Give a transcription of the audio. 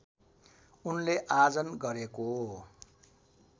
उनले आर्जन गरेको